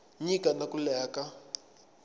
nyika na ku leha ka